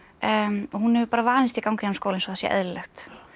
hún hefur bara vanist því að ganga í þennan skóla eins og það sé eðlilegt